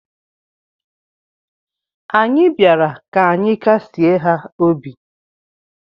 Anyị bịara ka anyị kasịe ha obi.